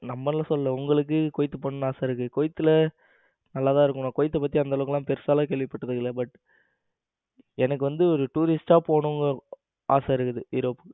நம்மள சொல்லல உங்களுக்கு குவைத் போனும்னு ஆசை இருக்கு. குவைத்தில நல்லா தான் இருக்கும் குவைத்த பத்தி அந்த அளவுக்கு எல்லாம் பெருசா எல்லாம் கேள்விப்பட்டது இல்ல but எனக்கு வந்து ஒரு tourist போனும்னு ஆசை இருக்கு europe க்கு